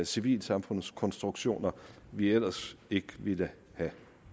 civilsamfundskonstruktioner vi ellers ikke ville have